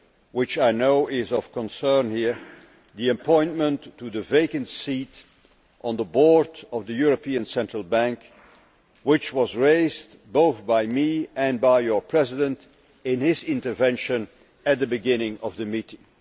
which I know is of concern here, the appointment to the vacant seat on the Board of the European Central Bank, which was raised both by me and by your President in his speech at the beginning of the meeting.